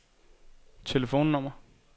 telefonnummer